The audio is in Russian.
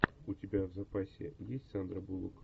у тебя в запасе есть сандра буллок